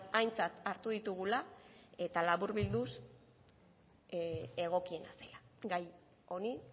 aintzat hartu ditugula eta laburbilduz egokiena zela gai honi